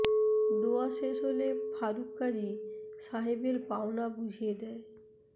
দোয়া শেষ হলে ফারুক কাজি সাহেবের পাওনা বুঝিয়ে দেয়